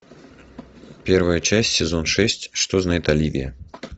первая часть сезон шесть что знает оливия